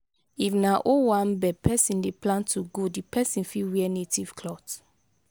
if na owambe person dey plan to go di person fit wear native cloth